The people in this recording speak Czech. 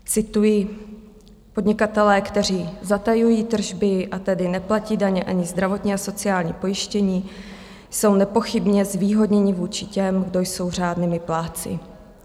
Cituji: Podnikatelé, kteří zatajují tržby, a tedy neplatí daně ani zdravotní a sociální pojištění, jsou nepochybně zvýhodněni vůči těm, kdo jsou řádnými plátci.